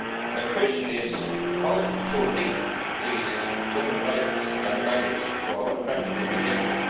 The question is how to link these human rights and values to our practical behaviour.